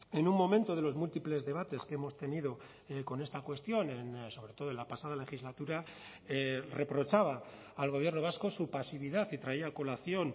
en un momento de los múltiples debates que hemos tenido con esta cuestión sobre todo en la pasada legislatura reprochaba al gobierno vasco su pasividad y traía a colación